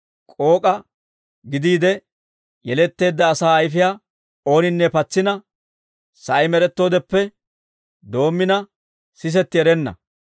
K'ook'a gidiide yeletteedda asaa ayfiyaa ooninne patsina, sa'ay med'ettoodeppe doommina, sisetti erenna.